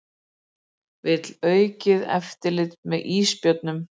Vill aukið eftirlit með ísbjörnum